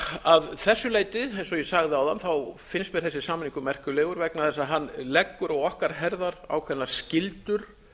að þessu leyti eins og ég sagði áðan finnst mér þessi samningur merkilegur vegna þess að hann leggur á okkar herðar ákveðnar skyldur